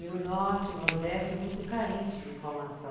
E o Norte e o Nordeste é muito carente de informação.